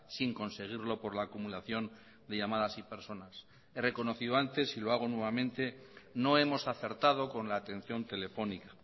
sin conseguirlo por la acumulación de llamadas y personas he reconocido antes y lo hago nuevamente no hemos acertado con la atención telefónica